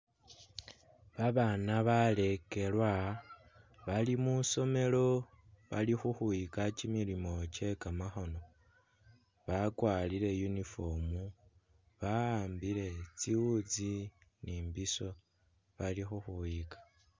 Babaana balekelwa bali mwi'isomelo bali khukhwiyika kimilimo kye kamakhono, bakwarire uniform, ba'ambile tsiwutsi ni imbiso bali khukhwiyika.